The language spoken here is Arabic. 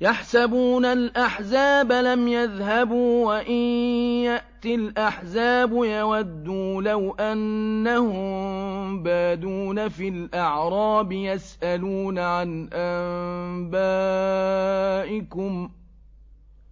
يَحْسَبُونَ الْأَحْزَابَ لَمْ يَذْهَبُوا ۖ وَإِن يَأْتِ الْأَحْزَابُ يَوَدُّوا لَوْ أَنَّهُم بَادُونَ فِي الْأَعْرَابِ يَسْأَلُونَ عَنْ أَنبَائِكُمْ ۖ